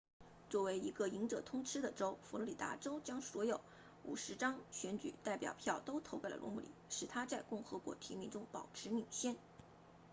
作为一个赢者通吃的州佛罗里达州将所有50张选举代表票都投给了罗姆尼使他在共和党提名中保持领先